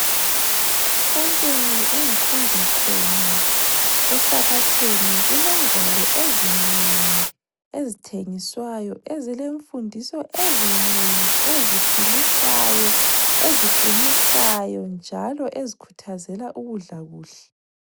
Esontweni engikhonza khona esabatheni kulengwalo ezinengi ezithengiswayo ezilemfundiso ezinengi eziphilisayo ,eziqinisayo njalo ezikhuthazela ukudla kuhle.